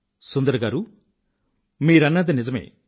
సుందర్ గారూ మీరన్నది నిజమే